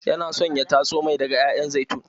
Yana son ya tatso mai daga ƴaƴan zaitun.